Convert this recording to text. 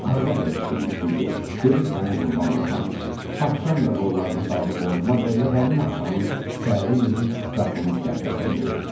Arvad elə şirinlikdi ki, dedi sənə qurban olum ay kişi, axşam da qollarını saldı boynuma və elə həmin axşamın səhəri günü qapımız qəflətən döyüldü.